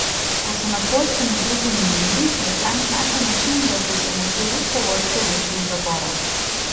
Ko so na Poljskem izbruhnili nemiri, je Frank našel način, da se je s pomočjo ruske vojske rešil iz zapora.